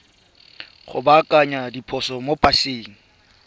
go baakanya diphoso mo paseng